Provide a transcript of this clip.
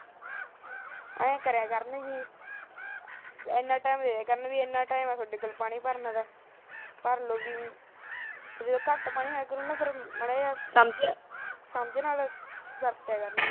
ਐ ਕਰਿਆ ਕਰਨ ਜੀ ਐਨਾ ਟਾਈਮ ਐ ਤੁਹਾਡੇ ਕੋਲ ਪਾਣੀ ਭਰਨ ਦਾ ਭਰ ਲੋ ਜੇ ਘੱਟ ਪਾਣੀ ਹੋਉਗਾ ਤਾਂ ਸਮਝ ਨਾ ਵਰਤ ਕਰਿਆ ਕਰਨਗੀਆਂ